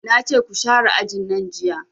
Nace ku share ajin nan jiya